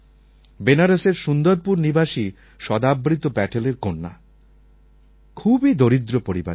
বেনারসের সুন্দরপুর নিবাসী সদাবৃত প্যাটেলের কন্যা খুবই দরিদ্র পরিবারের মেয়ে